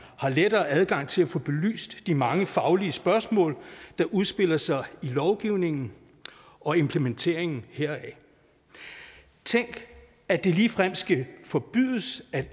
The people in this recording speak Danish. har lettere adgang til at få belyst de mange faglige spørgsmål der udspiller sig i lovgivningen og implementeringen heraf tænk at det ligefrem skal forbydes at